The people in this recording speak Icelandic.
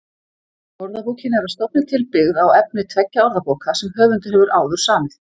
Orðabókin er að stofni til byggð á efni tveggja orðabóka sem höfundur hefur áður samið.